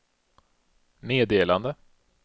meddelande